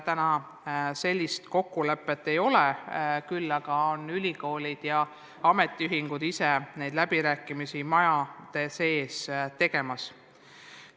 Praegu sellist kokkulepet ei ole, küll aga peavad ülikoolid ja ametiühingud neid läbirääkimisi majades sees.